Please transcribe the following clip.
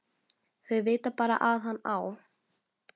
Þau vita bara að hann á